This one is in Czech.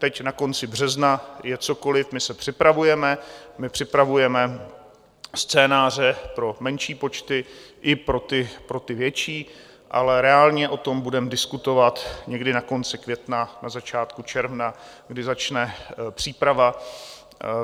Teď na konci března je cokoliv, my se připravujeme, my připravujeme scénáře pro menší počty i pro ty větší, ale reálně o tom budeme diskutovat někdy na konci května, na začátku června, kdy začne příprava.